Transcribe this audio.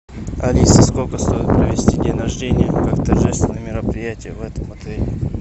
алиса сколько стоит провести день рождения как торжественное мероприятие в этом отеле